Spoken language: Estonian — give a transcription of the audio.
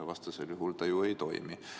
Vastasel juhul see ju ei toimi.